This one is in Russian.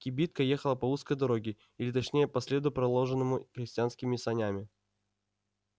кибитка ехала по узкой дороге или точнее по следу проложенному крестьянскими санями